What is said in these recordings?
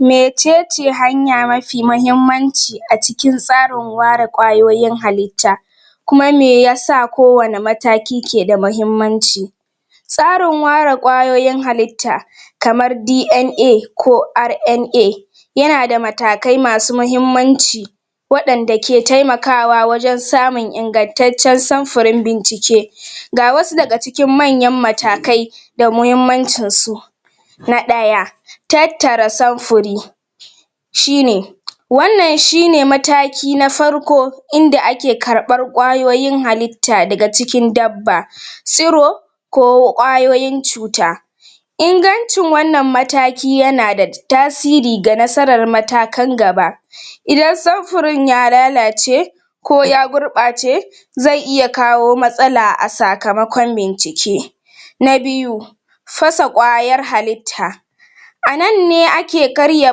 Mecece hanya mafi mahimmanci a cikin tsarin ware ƙwayoyin halitta kuma me yasa ko wane mataki ke da mahimmanci tsarin ware ƙwayoyin halitta kamar da yana da matakai masu mahimmanci waɗanda ke taimakawa wajen samun ingantaccen samfurin bincike ga wasu daga cikin manyan matakai da muhimmancin su na ɗaya tattara samfuri shine wannan shine mataki na farko inda ake karbar ƙwayoyin halitta daga cikin dabba,, tsiro kko ƙwayoyin cuta ingancin wannan mataki yana da tasiri ga nasaran matakan gaba idan samfurin ya lalace ko ya gurɓace zai iya kawo matsala a sakamakon bincike na biyu fasa ƙwayar halitta a nan ne ake karya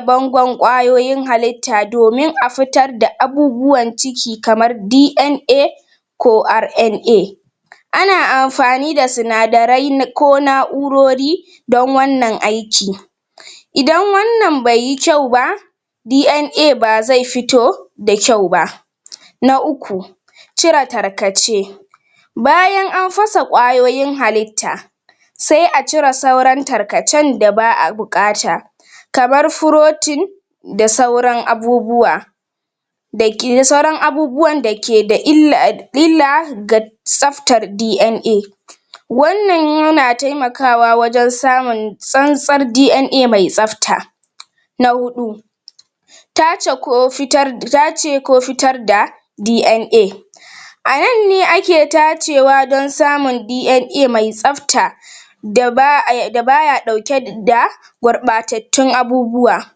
bangon ƙwayoyin halitta domin a fitar da abubuwan ciki kamar ko ana amfani da sinadarai na ko na'urori don wannan aiki idan wannan bai yi kyau ba ba zai fito da kyau ba na uku cire tarkace bayan an fasa kwayoyin halitta sai a cire sauran tarkacen da ba a buƙata kamar furotin da sauran abubuwa da ke sauran abubuwan da ke da illa ga tsaftar wannan yana taimakawa wajen samun tsantsar mai tsafta na huɗu tace ko fitar tace ko fitar da a nan ne ake tacewa don samun mai tsafta da da baya ɗauke da gurɓatattun abubuwa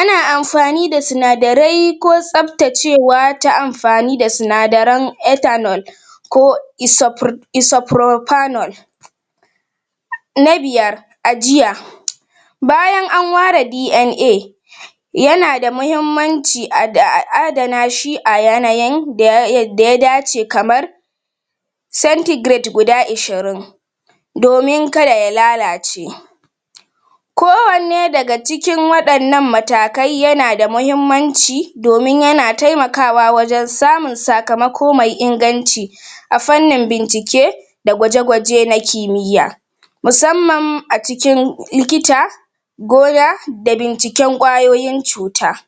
ana amfani da sinadarai ko tsaftacewa ta amfani da sinadaran ko na biyar ajiya bayan an ware yana da mahimmanci a adana shi a yanayan da ya dace kamar guda ishirin domin kada ya lalace ko wanne daga cikin waɗannan matakai yana da mahimmanci domin yana taimakawa wajen samun sakamako mai inganci a fannin bincike da gwaje-gwaje na kimiya musamman a cikin likita goya da binciken ƙwayoyin cuta.